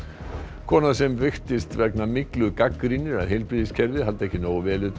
kona sem veiktist vegna myglu gagnrýnir að heilbrigðiskerfið haldi ekki nógu vel utan um